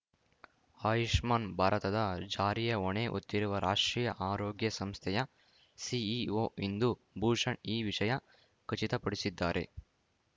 ಆಯುಷ್ಮಾನ್‌ ಭಾರತದ ಜಾರಿಯ ಹೊಣೆ ಹೊತ್ತಿರುವ ರಾಷ್ಟ್ರೀಯ ಆರೋಗ್ಯ ಸಂಸ್ಥೆಯ ಸಿಇಒ ಇಂದೂ ಭೂಷಣ್‌ ಈ ವಿಷಯ ಖಚಿತಪಡಿಸಿದ್ದಾರೆ